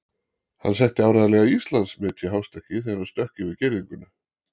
Hann setti áreiðanlega Íslandsmet í hástökki þegar hann stökk yfir girðinguna.